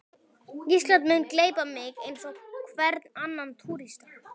Ísland mun gleypa mig eins og hvern annan túrista.